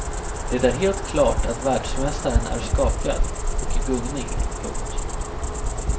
Det är helt klart att världsmästaren är skakad och i gungning. punkt